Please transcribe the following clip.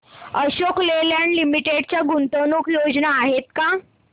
Ashok Leyland limited च्या गुंतवणूक योजना आहेत का